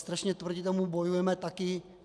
Strašně proti tomu bojujeme taky.